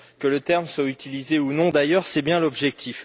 Que le terme soit utilisé ou non d'ailleurs, c'est bien l'objectif.